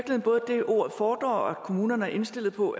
fordrer og at kommunerne er indstillet på